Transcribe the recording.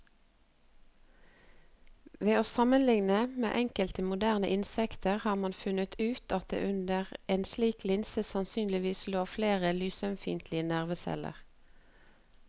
Ved å sammenligne med enkelte moderne insekter har man funnet ut at det under en slik linse sannsynligvis lå flere lysømfintlige nerveceller.